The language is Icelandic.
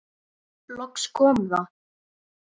Loks kom það.